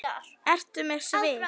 Ertu með svið?